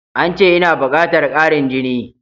Ance ina bukatar ƙarin jini.